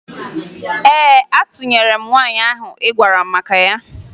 Ee, atụnyere m nwaanyị ahụ ị gwara m maka ya